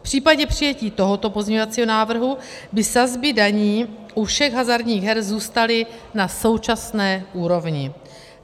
V případě přijetí tohoto pozměňovacího návrhu by sazby daní u všech hazardních her zůstaly na současné úrovni.